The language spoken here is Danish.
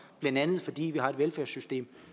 blandt andet fordi vi har et velfærdssystem